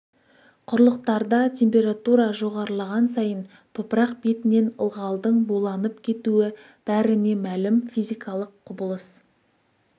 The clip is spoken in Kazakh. құрлықтарда температура жоғарылаған сайын топырақ бетінен ылғалдың буланып кетуі бәріне мәлім физикалық құбылыс